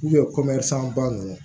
ba ninnu